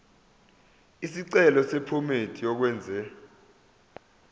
isicelo sephomedi yokwenze